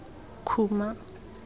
khuma